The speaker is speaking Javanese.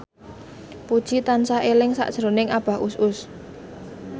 Puji tansah eling sakjroning Abah Us Us